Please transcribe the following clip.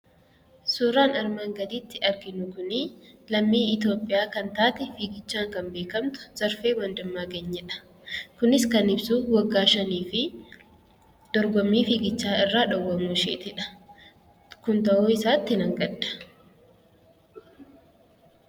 Suuraan armaan gaditti arginu kun lammii Itoophiyaa kan taate fiigichaan kan beekamte Zarfee Wandimmaaganyidha. Kunis kan ibsu waggaa shanii fi dorgommii fiigichaa irraa dhorkamuu isheedha. Kun ta'uu isaatti nan gadda.